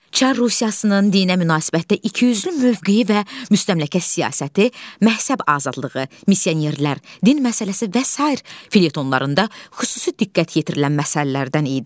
Çar Rusiyasının dinə münasibətdə ikiyüzlü mövqeyi və müstəmləkə siyasəti, məhsəb azadlığı, missionerlər, din məsələsi və sair felyetonlarında xüsusi diqqət yetirilən məsələlərdən idi.